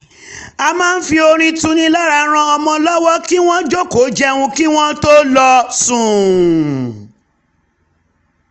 a máa ń fi orin tuni lára ran ọmọ lọwọ kí wọ́n jòkòó jẹun kí wọ́n tó lọ sùn